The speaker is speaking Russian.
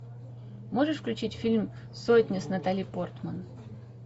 можешь включить фильм сотня с натали портман